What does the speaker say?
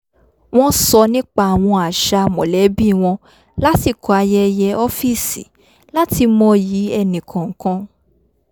wọ́n sọ nípa àwọn àṣà mọ̀lẹ́bí wọn lásìkò ayẹyẹ ọ́fíìsì láti mọyì ẹnì kọ̀ọ̀kan